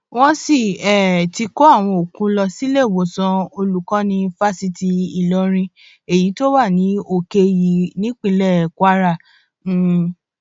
wọn sì um ti kó àwọn òkú lọ síléèwòsàn olùkọni fásitì ìlọrin èyí tó wà ní òkè òyí nípínlẹ kwara um